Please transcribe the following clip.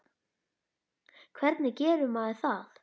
Hvernig gerir maður það?